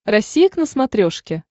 россия к на смотрешке